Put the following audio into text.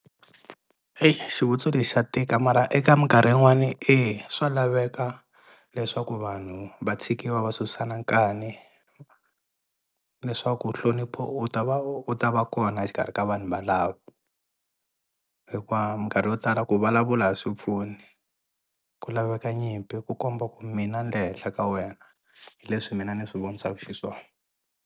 Eyi xivutiso lexi xa tika mara eka minkarhi yin'wani eya swa laveka leswaku vanhu va tshikiwa va susana nkani leswaku nhlonipho u ta va u ta va kona exikarhi ka vanhu valavo hikuva minkarhi yo tala ku vulavula a swi pfuni ku laveka nyimpi ku komba ku mina ni le henhla ka wena hi leswi mina ni swi vonisaka xiswona.